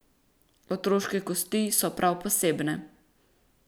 Otroške kosti so prav posebne.